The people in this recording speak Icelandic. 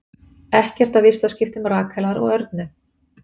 Ekkert af vistaskiptum Rakelar og Örnu